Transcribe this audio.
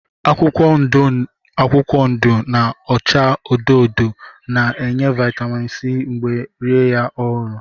Akwụkwọ ndụ akwụkwọ ndụ na-acha odo odo na-enye vitamin C mgbe rie ya ọhụrụ